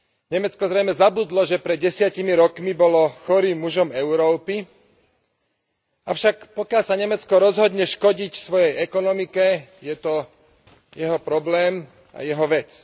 Nemecko zrejme zabudlo, že pred 10 rokmi bolo chorým mužom Európy, avšak pokiaľ sa Nemecko rozhodne škodiť svojej ekonomike, je to jeho problém a jeho vec.